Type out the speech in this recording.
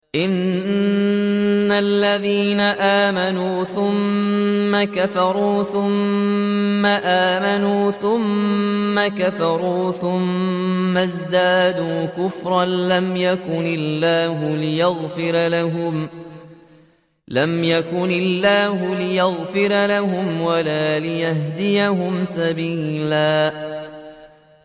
إِنَّ الَّذِينَ آمَنُوا ثُمَّ كَفَرُوا ثُمَّ آمَنُوا ثُمَّ كَفَرُوا ثُمَّ ازْدَادُوا كُفْرًا لَّمْ يَكُنِ اللَّهُ لِيَغْفِرَ لَهُمْ وَلَا لِيَهْدِيَهُمْ سَبِيلًا